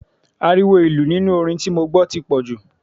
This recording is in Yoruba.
Ariwo ìlù nínú orin tí mo gbọ́ tí pọ̀jù.